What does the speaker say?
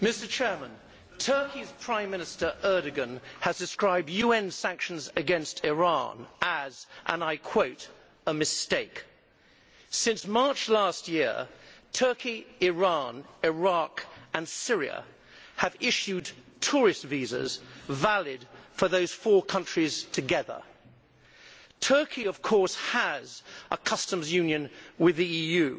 Mr President, Turkey's Prime Minister Erdogan has described UN sanctions against Iran as, and I quote, a mistake'. Since March last year, Turkey, Iran, Iraq and Syria have issued tourist visas valid for those four countries together. Turkey, of course, has a customs union with the EU,